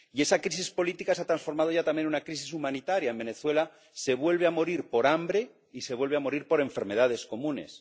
Y esa crisis política se ha transformado ya también en una crisis humanitaria. En Venezuela se vuelve a morir por hambre y se vuelve a morir por enfermedades comunes.